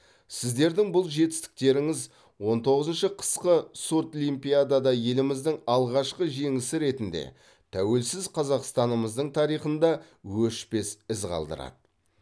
сіздердің бұл жетістіктеріңіз он тоғызыншы қысқы сурдлимпиадада еліміздің алғашқы жеңісі ретінде тәуелсіз қазақстанымыздың тарихында өшпес із қалдырады